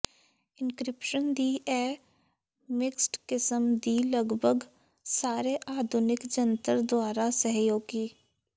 encryption ਦੀ ਇਹ mixed ਕਿਸਮ ਦੀ ਲਗਭਗ ਸਾਰੇ ਆਧੁਨਿਕ ਜੰਤਰ ਦੁਆਰਾ ਸਹਿਯੋਗੀ